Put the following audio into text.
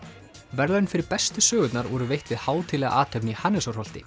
verðlaun fyrir bestu sögurnar voru veitt við hátíðlega athöfn í